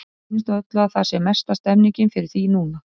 Mér sýnist á öllu að það sé mesta stemningin fyrir því núna!